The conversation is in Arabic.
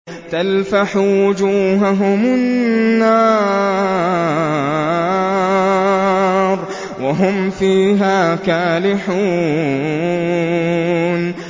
تَلْفَحُ وُجُوهَهُمُ النَّارُ وَهُمْ فِيهَا كَالِحُونَ